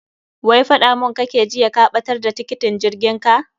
Wai faɗa mun kake jiya ka ɓatar da tiketin jirgin ka.